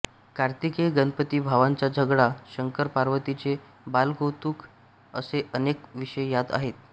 कार्तिकेय गणपती भावांचा झगडा शंकरपार्वतीचे बालकौतुक असे अनेक विषय यात आहेत